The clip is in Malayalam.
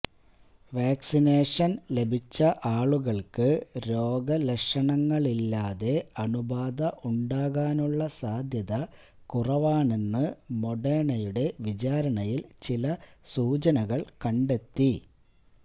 വാക്സിനേഷന് ലഭിച്ച ആളുകള്ക്ക് രോഗലക്ഷണങ്ങളില്ലാതെ അണുബാധ ഉണ്ടാകാനുള്ള സാധ്യത കുറവാണെന്ന് മോഡേണയുടെ വിചാരണയില് ചില സൂചനകള് കണ്ടെത്തി